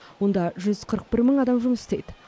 онда жүз қырық бір мың адам жұмыс істейді